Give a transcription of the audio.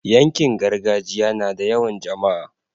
yankin gargajiya nada yawan jamaa